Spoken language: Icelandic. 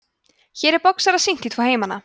hér er boxara sýnt í tvo heimana